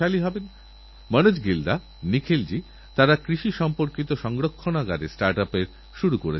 আমি আমার দক্ষিণ আফ্রিকা ভ্রমণেরসময় ফিনিক্স সেটেলমেন্ট এ গিয়েছিলাম যা মহাত্মাগান্ধীর বাসস্থান সর্বোদয় নামে পরিচিত